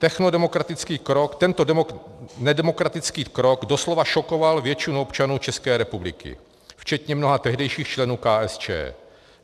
Tento nedemokratický krok doslova šokoval většinu občanů České republiky, včetně mnoha tehdejších členů KSČ.